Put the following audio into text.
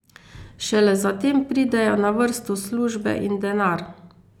Šele zatem pridejo na vrsto službe in denar.